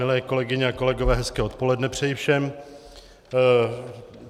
Milé kolegyně a kolegové, hezké odpoledne přeji všem.